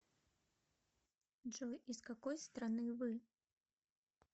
джой из какой страны вы